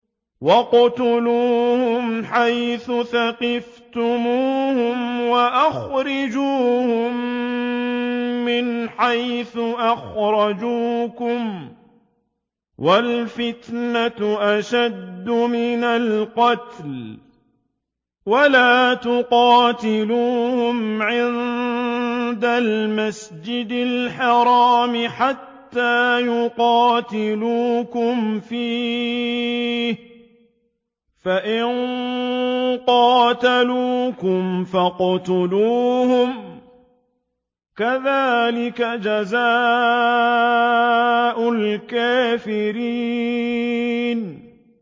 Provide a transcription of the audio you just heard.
وَاقْتُلُوهُمْ حَيْثُ ثَقِفْتُمُوهُمْ وَأَخْرِجُوهُم مِّنْ حَيْثُ أَخْرَجُوكُمْ ۚ وَالْفِتْنَةُ أَشَدُّ مِنَ الْقَتْلِ ۚ وَلَا تُقَاتِلُوهُمْ عِندَ الْمَسْجِدِ الْحَرَامِ حَتَّىٰ يُقَاتِلُوكُمْ فِيهِ ۖ فَإِن قَاتَلُوكُمْ فَاقْتُلُوهُمْ ۗ كَذَٰلِكَ جَزَاءُ الْكَافِرِينَ